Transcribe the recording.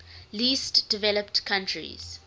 least developed countries